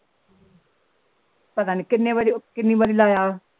ਪਤਾ ਨੀ ਕਿਨੇ ਬਜੇ ਕਿਨੀ ਵਾਰੀ ਲਾਇਆ